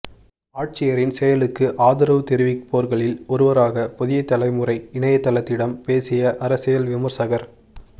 ஆட்சியரின் செயலுக்கு ஆதரவு தெரிவிப்போர்களில் ஒருவராக புதிய தலைமுறை இணையதளத்திடம் பேசிய அரசியல் விமர்சகர்